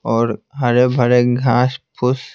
और हरे-भरे घास-फूस --